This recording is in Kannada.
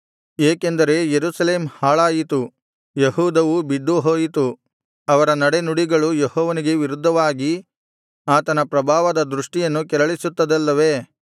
ಏಕೆಂದರೆ ಯೆರೂಸಲೇಮ್ ಹಾಳಾಯಿತು ಯೆಹೂದವು ಬಿದ್ದುಹೋಯಿತು ಅವರ ನಡೆನುಡಿಗಳು ಯೆಹೋವನಿಗೆ ವಿರುದ್ಧವಾಗಿ ಆತನ ಪ್ರಭಾವದ ದೃಷ್ಟಿಯನ್ನು ಕೆರಳಿಸುತ್ತದಲ್ಲವೇ